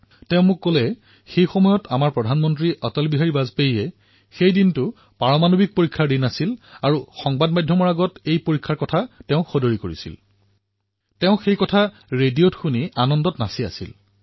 তেওঁ কলে যে সেই সময়ৰ আমাৰ প্ৰধানমন্ত্ৰী অটল বিহাৰী বাজপেয়ীয়ে সেয়া পৰমাণু পৰীক্ষণৰ দিন আছিল আৰু সংবাদ মাধ্যমৰ সন্মুখত তেওঁ ঘোষণা কৰিছিল আৰু এই ঘোষণা ৰেডিঅত শুনি দোকানীজনে ফুৰ্তিত নাচি আছিল